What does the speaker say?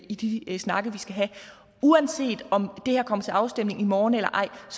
i de snakke vi skal have uanset om det her kommer til afstemning i morgen eller ej